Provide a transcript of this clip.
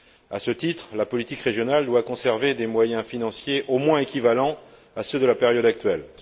À ce titre, la politique régionale doit conserver des moyens financiers au moins équivalents à ceux de la période actuelle.